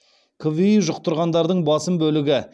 кви жұқтырғандардың басым бөлігі